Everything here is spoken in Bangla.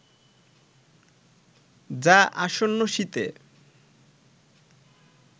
যা আসন্ন শীতে